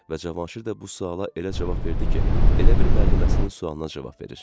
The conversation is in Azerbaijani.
Və Cavanşir də bu suala elə cavab verdi ki, elə bil müəlliməsinin sualına cavab verir.